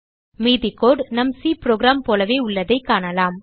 மீதி கோடு நம் C program போலவே உள்ளதைக் காணலாம்